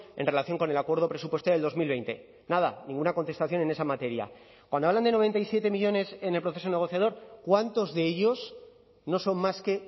en relación con el acuerdo presupuestario del dos mil veinte nada ninguna contestación en esa materia cuando hablan de noventa y siete millónes en el proceso negociador cuántos de ellos no son más que